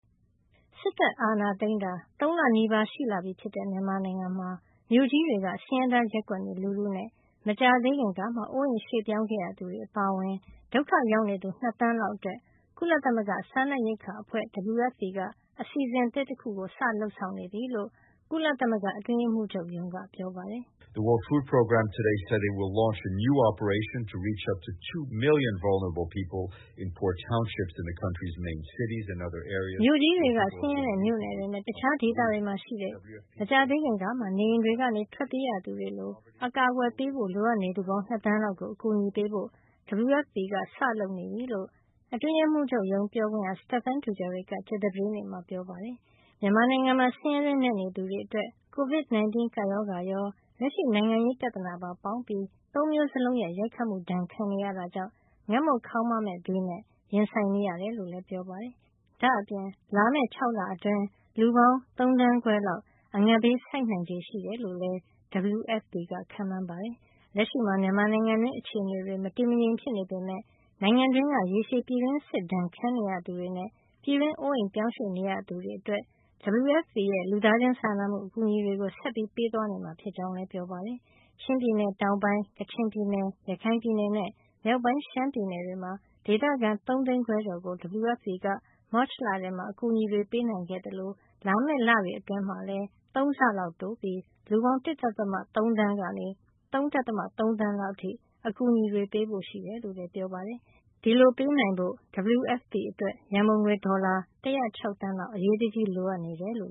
စစ်တပ်အာဏာသိမ်းတာ ၃ လနီးပါး ရှိလာပြီဖြစ်တဲ့ မြန်မာနိုင်ငံမှာ မြို့ကြီးတွေက ဆင်းရဲသားရပ်ကွက်နေလူထုနဲ့ မကြာသေးခင်ကမှ အိုးအိမ်ရွှေ့ပြောင်း ခဲ့ရသူတွေအပါအဝင် ဒုက္ခရောက်နေသူ ၂ သန်းလောက်အတွက် ကုလသမဂ္ဂ စားနပ်ရိက္ခာအဖွဲ့ WFP က အစီစဉ်သစ်တခု စတင်လုပ်ဆောင်နေပြီလို့ ကုလသမဂ္ဂ အတွင်းရေးမှူးချုပ်ရုံးက ပြောပါတယ်။ “မြို့ကြီးတွေက ဆင်းရဲတဲ့ မြို့နယ်တွေနဲ့ တခြားဒေသတွေမှာရှိတဲ့ မကြာသေးခင်ကမှ နေအိမ်တွေကနေ ထွက်ပြေးရသူတွေ လို အကာကွယ်ပေးဖို့လိုအပ်နေသူပေါင်း ၂ သန်းလောက်ကို အကူညီပေးဖို့ WFP က စလုပ်နေပါပြီ” လို့ အတွင်းရေးမှုးချုပ်ရုံး ပြောခွင့်ရ Stephane Dujarric က ကြာသပတေးနေ့မှာ ပြောကြားလိုက်တာပါ။ မြန်မာနိုင်ငံမှာ ဆင်းရဲတွင်းနက်နေသူတွေအတွက် COVID- 19 ကပ်ရောဂါရော၊ လက်ရှိနိုင်ငံရေး ပြဿနာပါ ပေါင်းပြီး ၃ မျိုးစလုံးရဲ့ ရိုက်ခတ်မှု ဒဏ်ခံရတာကြောင့် ငတ်မွတ်ခေါင်းပါးမယ့် ဘေးနဲ့ ရင်ဆိုင်နေရတယ်လို့လည်း ပြောပါတယ်။ ဒါ့အပြင် လာမယ့် ၆ လအတွင်း လူပေါင်း ၃ သန်းခွဲလောက် အငတ်ဘေး ဆိုက်နိုင်တယ်လို့လည်း WFP က ခန့်မှန်းထားပါတယ်။ လက်ရှိမှာ မြန်မာနိုင်ငံတွင်း အခြေနေတွေ မတည်မငြိမ် ဖြစ်နေပေမယ့် နိုင်ငံတွင်းက ရေရှည်ပြည်တွင်းစစ်ဒဏ် ခံနေရသူတွေနဲ့ ပြည်တွင်းအိုးအိမ်ပြောင်းရွှေ့နေရသူတွေအတွက် WFP ရဲ့ လူသားချင်းစာနာမှု အကူညီတွေကို ဆက်ပေးသွားမှာ ဖြစ်ကြောင်းလည်း ပြောပါတယ်။ ချင်းပြည်နယ်တောင်ပိုင်း၊ ကချင်ပြည်နယ်၊ ရခိုင်ပြည်နယ်နဲ့ မြောက်ပိုင်းရှမ်းပြည်နယ်တွေက ဒေသခံ ၃ သိန်းခွဲကျော် ကို WFP က မတ်လထဲမှာ အကူညီတွေ ပေးနိုင်ခဲ့သလို လာမယ့် လတွေ အတွင်းမှာလည်း ၃ ဆလောက်တိုးပြီး လူပေါင်း ၁.၃ သန်းကနေ ၃.၃ သန်းလောက်အထိ WFP က အကူအညီတွေ ပေးဖို့ရှိကြောင်းလည်း ပြောပါတယ်။ ဒီလိုပေးနိုင်ဖို့ WFP အတွက် ရံပုံငွေ ဒေါ်လာ ၁၀၆ သန်းလောက် အရေးတကြီးလိုအပ်နေတယ်လို့